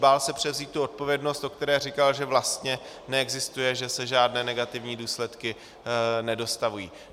Bál se převzít tu odpovědnost, o které říkal, že vlastně neexistuje, že se žádné negativní důsledky nedostavují.